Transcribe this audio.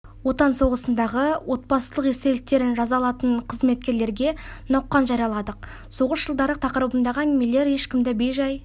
отан соғысындағы отбасылық естеліктерін жаза алатын қызметкерлерге науқан жарияладық соғыс жылдары тақырыбындағы әңгімелер ешкімді бей-жай